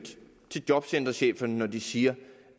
til jobcentercheferne når de siger